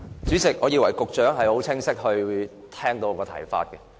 主席，我以為局長已很清楚聽到我的補充質詢。